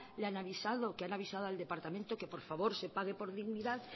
le han avisado que han avisado al departamento que por favor se pague por dignidad